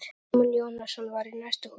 Símon Jónasson var í næsta húsi.